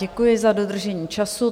Děkuji za dodržení času.